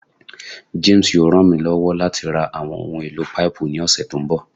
James yoo ran mi lọwọ lati ra awọn ohun elo paipu ni ọsẹ to nbọ